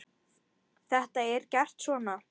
Þetta er gert svona